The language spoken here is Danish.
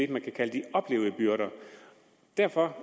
kunne kalde de oplevede byrder derfor